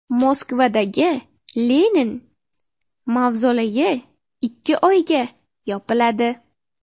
Moskvadagi Lenin mavzoleyi ikki oyga yopiladi.